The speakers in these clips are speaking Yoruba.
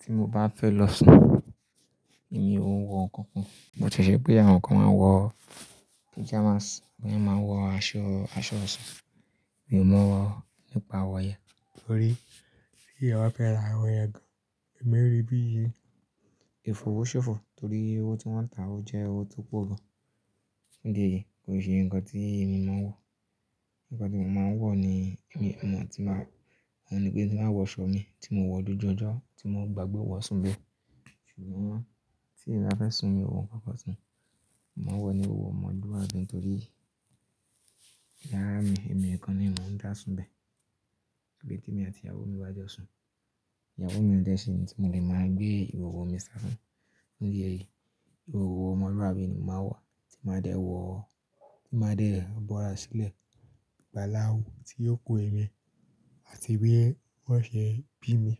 Tí mo bá fẹ́ lọ sùn, èmi òun wọ ǹkankan, bó ti jẹ́ pé àwọn kan máa ń wọ pajamas, àwọn mìíràn máa ń wọ aṣọ, aṣọ ọ̀sùn. Mi ò mọ̀ nípa àwọn yen torí pé teeyan ba fẹ́ ra àwọn yen gan-an, èmi rí bí ìfọ̀wọ́sọ̀fọ̀ torí owó tí wọ́n ń ta á jẹ́ owó tó pọ̀ gan-an. Fun idi èyí, kò ṣe ǹkan tí èmi mo n wọ̀. Ǹkan tí mo máa ń wọ̀ ni èmi mọ̀ tí máa, òun ni pé tí mba wọ aṣọ mi tí mo wọ̀ dójú ọjọ́ tí mo bá gbagbé wọ̀ sún bẹ́ẹ̀. Ṣùgbọ́n tí ńbá fẹ́ sùn, mi ò wọ ǹkankan sùn. Mo n wọ ni ìhọ̀họ̀ ọmọluabi nitorí yàrá mi, èmi nìkan ni mò ń dà sùn bẹ́ẹ̀. Pé tí èmi àti ìyàwó mi bá jọ sùn, ìyàwó mi o dẹ́ ṣe tí mo lè máa gbé ìhọ̀họ̀ mi ṣà fún. Fun idi èyí, ìhọ̀họ̀ ọmọluabi ni mo máa wa tí ma dé wọ̀, tí maa dé bora sílẹ̀. Ìgbà láwù tí yóò kú èmi àti bí wọ́n ṣe bí mi.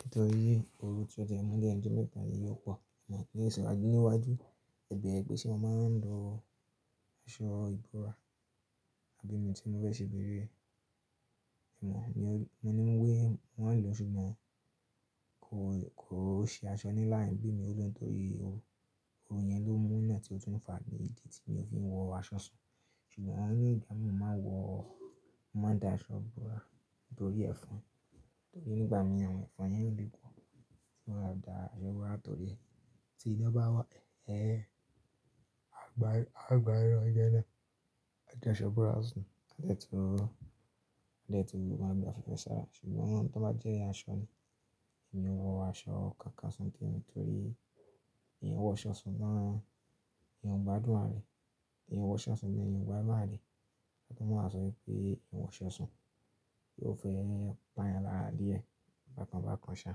Nítorí oru tí o tie ń mú lẹ́nu ọjo mẹ́ta yìí ò po. Ǹiwaju ẹ̀bẹ̀ẹrẹ́ pe se mo máa ń lọ, aṣọ ìbora abí mi tí mo bẹ́ ṣe bèrè. Èèwọ̀ ni wọ́n ń wé wọ́n lọ ṣùgbọ́n kò, kò ṣe aṣọ níláà rìn bí mi tó sùn torí owó yẹn ló mú iná tí ó tún fà ní ìdí tí mi ò fi ń wọ aṣọ sùn. Ṣùgbọ́n ni ìgba mi ò máa wọ, máa dà aṣọ ìbora nítorí ẹ̀fọn. Torí nígbà mí àwọn ẹ̀fọn yẹn le pọ̀, mo máa dà aṣọ ìbora torí ti iná bá wọ́, ẹ́, a gbá, a gbá irọ̀ jẹ́ẹ́lẹ̀. A jẹ aṣọ ìbora sùn, a tẹ́tú, a tẹ́tú máa gba fẹ́fẹ́ sára. Ṣùgbọ́n tó bá jẹ́ aṣọ ni, èmi ò wọ aṣọ kankan sùn tẹ́ẹ̀rìn torí èèyàn wọ aṣọ sùn náà, èèyàn ò gba dùn arà rẹ̀. Èèyàn wọ aṣọ sùn ni èèyàn ò gba dùrùà rẹ̀. Ọ̀túnmọ̀ sọ wípé èèyàn wọ aṣọ sùn, yóò fẹ́ pá yàn lára dìẹ bákan bákan ṣá.